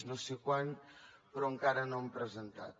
no sé quan però encara no han presentat